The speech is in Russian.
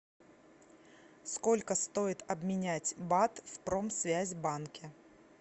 сколько стоит обменять бат в промсвязьбанке